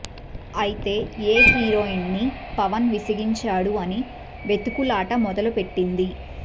అయితే ఏ హీరోయిన్ ని పవన్ విసిగించాదు అని వెతుకులాట మొదలుపెట్టింది